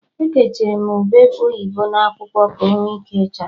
Ekechiri m ube oyibo n'akwụkwọ, ka onwe ike chaa